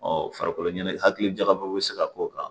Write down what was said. farikolo ɲɛnakili jagabɔ bɛ se ka k'o kan